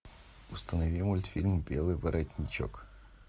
установи мультфильм белый воротничок